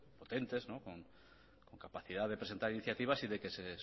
potentes con capacidad de presentar iniciativas y de que se